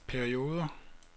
perioder